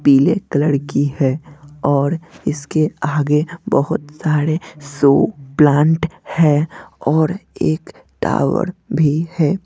पीले कलर की है और इसके आगे बहोत सारे शो प्लांट है और एक टॉवर भी है।